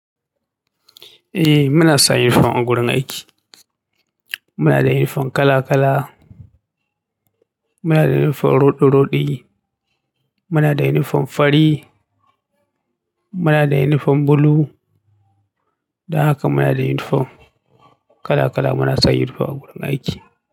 Eh muna sa uniform a gurin aiki. Mu nada uniform kalakala, muna da uniform rodi-rodi, muna da uniform fari, muna da uniform blue, dan haka muna da uniform kalakala, muna sa uniform a wurin aiki.